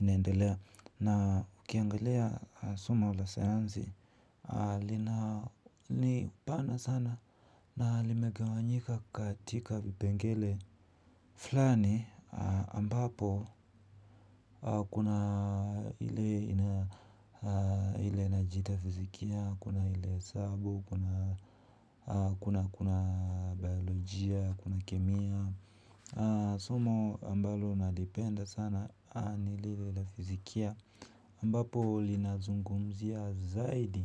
inaendelea. Na ukiangalia somo la sayansi, lina ni pana sana na limegewanyika katika vipengele. Fulani ambapo kuna ile inajiita fizikia, kuna ile hesabu, kuna kuna biolojia, kuna kemia. Somo ambalo nalipenda sana ni lile la fizikia ambapo linazungumzia zaidi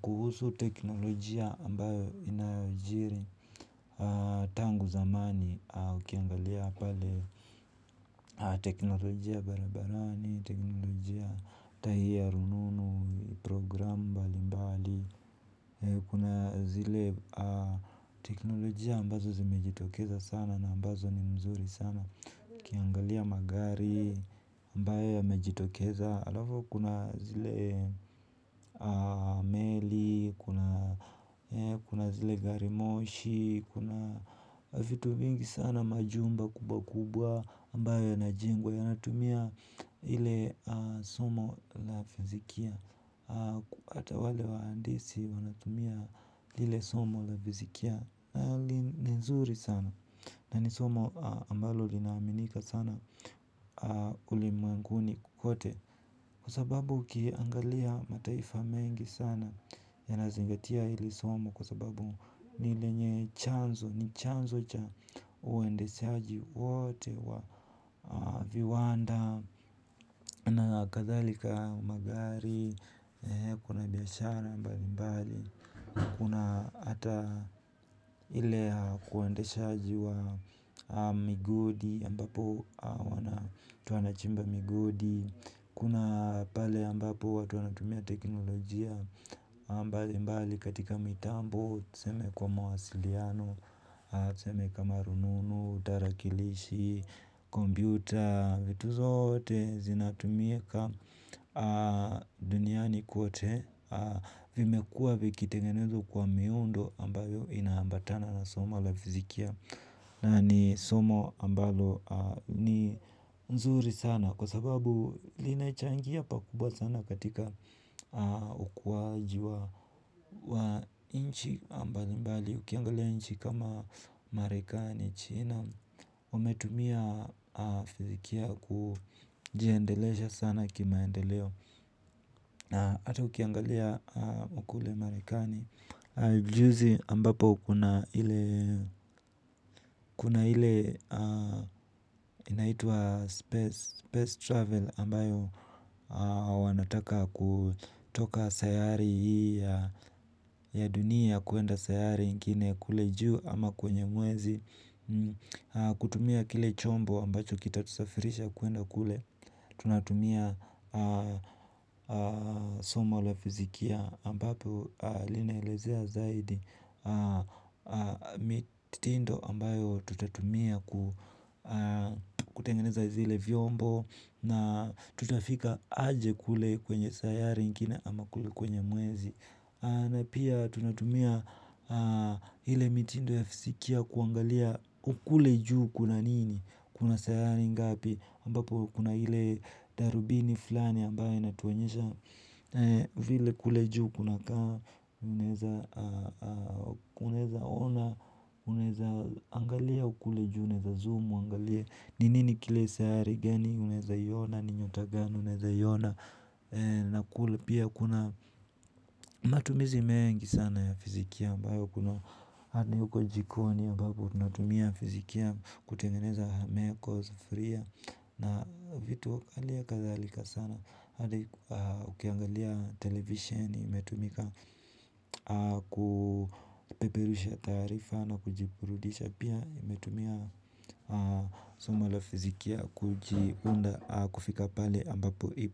kuhusu teknolojia ambayo inayoijiri. Tangu zamani ukiangalia pale teknolojia barabarani, teknolojia ata hii ya rununu, program mbali mbali kuna zile teknolojia ambazo zimejitokeza sana na ambazo ni mzuri sana ukiangalia magari ambayo yamejitokeza, alafu kuna zile meli, kuna zile garimoshi. Kuna vitu mingi sana majumba kubwa kubwa ambayo yana jengwa. Yanatumia ile somo la fizikia hata wale waandisi wanatumia lile somo la fizikia. Ni nzuri sana na ni somo ambalo linaminika sana ulimwenguni kwote. Kwa sababu ukiangalia mataifa mengi sana ya nazingatia hili somo kwa sababu ni lenye chanzo, ni chanzo cha uendeshaji wote wa viwanda na kadhalika magari, kuna biashara mbali mbali kuna hata ile kuendeshaji wa migodi mbapo watu wanachimba migodi. Kuna pale ambapo watu wanatumia teknolojia mbali mbali katika mitambo. Tuseme kwa mawasiliano, tuseme kama rununu, tarakilishi, kompyuta, vitu zote zinatumika duniani kwote. Vimekuwa vikitengenezwa kwa miundo ambayo inaambatana na somo la fizikia. Na ni somo ambalo ni nzuri sana kwa sababu linachangia pakubwa sana katika ukuaji wa wa nchi mbali mbali. Ukiangalia nchi kama marekani china wametumia fizikia kujiendelesha sana kimaendeleo. Ata ukiangalia kule marekani juzi ambapo kuna ile ile inaitwa space travel ambayo wanataka kutoka sayari hii ya dunia kwenda sayari ingine kule juu ama kwenye mwezi. Kutumia kile chombo ambacho kita tusafirisha kwenda kule. Tunatumia somo la fizikia ambapo linaelezea zaidi mitindo ambayo tutatumia kutengeneza zile vyombo na tutafika aje kule kwenye sayari ingine ama kule kwenye mwezi. Na pia tunatumia ile mitindo ya fizikia kuangalia kule juu kuna nini, kuna sayari ngapi, ambapo kuna ile darubini fulani ambayo inatuonyesha vile kule juu kuna kaa, unaweza ona, unaweza angalia kule juu, unaeza zoom, uangalie ni nini kile sayari gani, unaeza iona, ni nyota gani, unaeza iona. Na kule pia kuna matumizi mengi sana ya fizikia ambayo kuna hata huko jikoni ambapo tunatumia fizikia kutengeneza meko sufuria na vitu zile kadharika sana hata ukiangalia televisheni imetumika kupeperusha taarifa na kujiburudisha pia imetumia somo la fizikia kujiunda kufika pale ambapo ipo.